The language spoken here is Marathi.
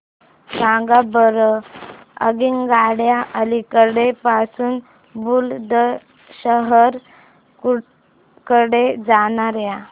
सांगा बरं आगगाड्या अलिगढ पासून बुलंदशहर कडे जाणाऱ्या